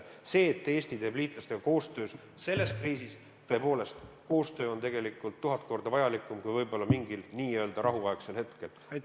See, et Eesti teeb liitlastega koostööd selles kriisis – tõepoolest, koostöö on tegelikult tuhat korda vajalikum kui võib-olla mingil n-ö rahuaegsel hetkel.